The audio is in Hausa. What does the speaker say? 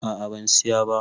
A'a ban Siya ba.